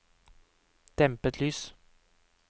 dempet lys